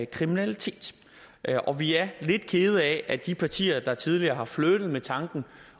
kriminalitet og vi er lidt kede af at de partier der tidligere har flirtet med tanken